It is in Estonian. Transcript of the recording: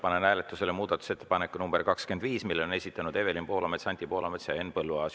Panen hääletusele muudatusettepaneku nr 25, mille on esitanud Evelin Poolamets, Anti Poolamets ja Henn Põlluaas.